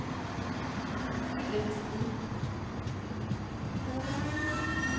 Hillevi Strid